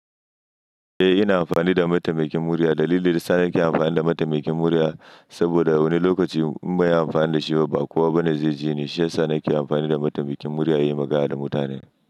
Eh ina amfani da mataimakin murya. Dalilin daya sa ni ke amfani da mataimakin murya, saboda wani lokacin in banyi amfani da shi ba kowa bane zai ji ni. Shi ya sa nake amfani da mataimakin murya in yi magana da mutane.